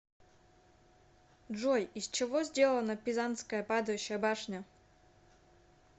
джой из чего сделано пизанская падающая башня